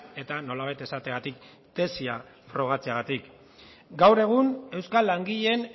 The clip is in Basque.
eta nolabait esateagatik tesia frogatzeagatik gaur egun euskal langileen